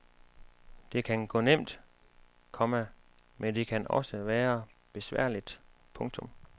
Det kan gå nemt, komma men det kan også være besværligt. punktum